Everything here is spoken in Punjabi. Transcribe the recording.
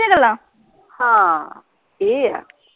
ਹਾਂ ਇਹ ਹੈ